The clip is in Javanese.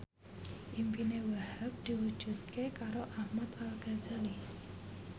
impine Wahhab diwujudke karo Ahmad Al Ghazali